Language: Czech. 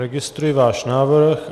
Registruji váš návrh.